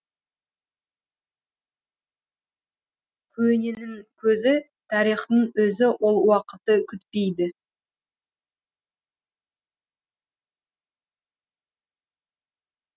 көненің көзі тарихтың өзі ол уақытты күтпейді